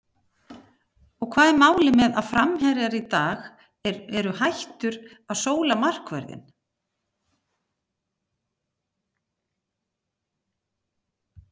Og hvað er málið með að framherjar í dag eru hættur að sóla markvörðinn?